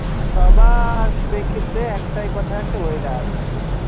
সবার প্রেক্ষিপ্তে একটাই কথা আসে weather হ্যাঁ